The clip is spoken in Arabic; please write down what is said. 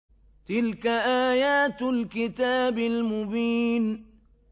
تِلْكَ آيَاتُ الْكِتَابِ الْمُبِينِ